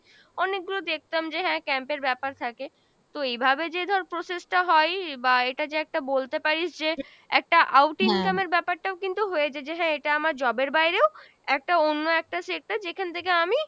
অনেকগুলো দেখতাম যে হ্যাঁ camp এর ব্যাপার থাকে, তো এইভাবে যে ধর process টা হয় বা এটা যে একটা বলতে পারিস যে একটা outing camp এর ব্যাপারটাও কিন্তু হয়ে যাই যে হ্যাঁ এটা আমার job এর বাইরেও একটা অন্য একটা সে একটা যেখান থেকে আমি